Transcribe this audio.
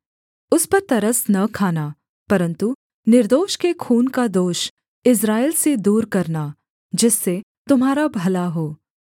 उस पर तरस न खाना परन्तु निर्दोष के खून का दोष इस्राएल से दूर करना जिससे तुम्हारा भला हो